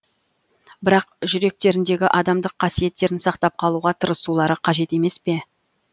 бірақ жүректеріндегі адамдық қасиеттерін сақтап қалуға тырысулары қажет емес пе